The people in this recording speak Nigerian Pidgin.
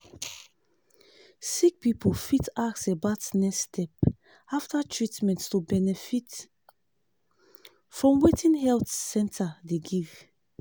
sick person fit ask about next step after treatment to benefit from wetin health center dey give.